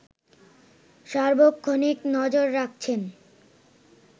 সার্বক্ষণিক নজর রাখছেন